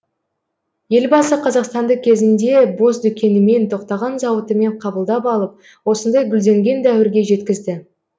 елбасы қазақстанды кезінде бос дүкенімен тоқтаған зауытымен қабылдап алып осындай гүлденген дәуірге жеткізді